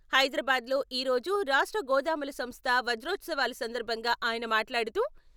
హైదరాబాద్ లో ఈరోజు రాష్ట్ర గోదాముల సంస్థ వజోత్సవాల సందర్భంగా ఆయన మాట్లాడుతూ..